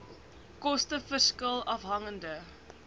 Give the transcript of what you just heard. koste verskil afhangende